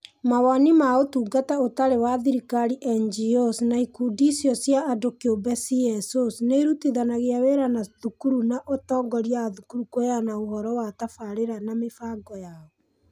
Mawoni ma Ũtungata Ũtarĩ wa Thirikari (NGOs) na Ikundi icio cia andũ kĩũmbe (CSOs) nĩ irutithania wĩra na thukuru na atongoria a thukuru kũheana ũhoro wa tabarĩra na mĩbango yao.